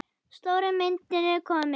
Stóra myndin er komin.